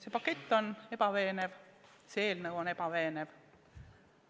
See pakett on ebaveenev, see eelnõu on ebaveenev.